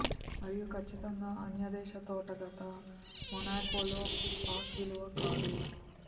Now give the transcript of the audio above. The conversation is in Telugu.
మరియు ఖచ్చితంగా అన్యదేశ తోట గత మొనాకో లో పాస్ విలువ కాదు